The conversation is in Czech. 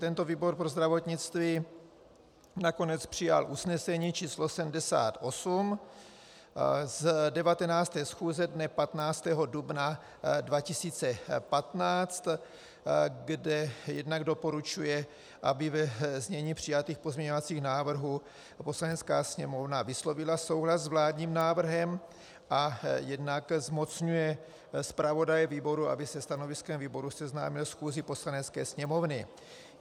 Tento výbor pro zdravotnictví nakonec přijal usnesení číslo 78 z 19. schůze dne 15. dubna 2015, kde jednak doporučuje, aby ve znění přijatých pozměňovacích návrhů Poslanecká sněmovna vyslovila souhlas s vládním návrhem, a jednak zmocňuje zpravodaje výboru, aby se stanoviskem výboru seznámil schůzi Poslanecké sněmovny.